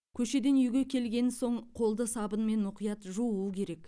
көшеден үйге келген соң қолды сабынмен мұқият жуу керек